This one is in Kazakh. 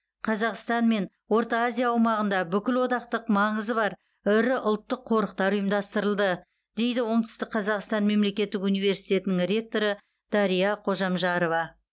қазақстан мен орта азия аумағында бүкілодақтық маңызы бар ірі ұлттық қорықтар ұйымдастырылды дейді оңтүстік қазақстан мемлекеттік университетінің ректоры дария қожамжарова